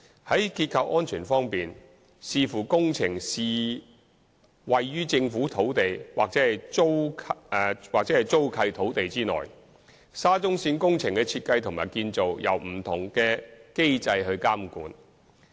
在結構安全方面，視乎工程是位於政府土地或租契土地內，沙中線工程的設計和建造由不同的機制監管。